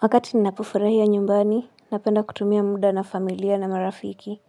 Wakati ninapofurahia nyumbani, napenda kutumia muda na familia na marafiki.